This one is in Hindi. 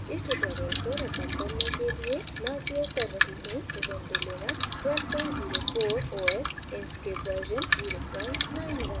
इस tutorial को record करने के लिए मैं उपयोग कर रही हूँ ubuntu Linux 1204 os inkscape version 091